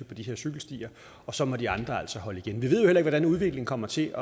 på de her cykelstier og så må de andre altså holde igen vi ved ikke hvordan udviklingen kommer til